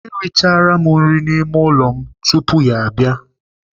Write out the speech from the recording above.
Erichala m nri n'ime ụlọ tupu ya abịa.